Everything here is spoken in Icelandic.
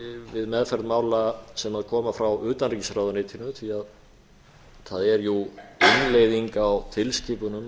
við meðferð mála sem koma frá utanríkisráðuneytinu því það er jú innleiðing á tilskipunum